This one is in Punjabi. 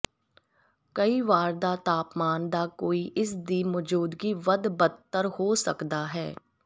ਕਈ ਵਾਰ ਦਾ ਤਾਪਮਾਨ ਦਾ ਕੋਈ ਇਸ ਦੀ ਮੌਜੂਦਗੀ ਵੱਧ ਬਦਤਰ ਹੋ ਸਕਦਾ ਹੈ